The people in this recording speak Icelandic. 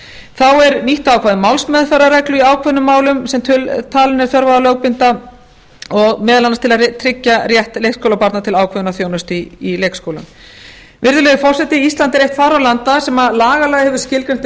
þá er nýtt ákvæði um málsmeðferðarreglu í ákveðnum málum sem talin er þörf á að lögbinda meðal annars til að tryggja rétt leikskólabarna til ákveðinnar þjónustu í leikskólum virðulegi forseti ísland er eitt fárra landa sem lagalega hefur skilgreint